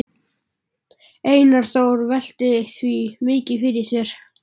Einar Þór velt því mikið fyrir sér.